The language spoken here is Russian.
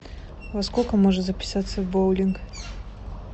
во сколько можно записаться в боулинг